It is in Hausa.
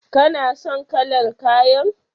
Kana son kalar kayan?